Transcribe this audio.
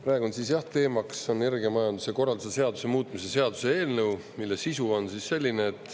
Praegu on siis jah teemaks energiamajanduse korralduse seaduse muutmise seaduse eelnõu, mille sisu on selline.